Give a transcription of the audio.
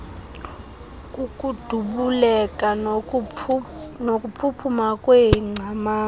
kukudubuleka nokuphuphuma kweengcamango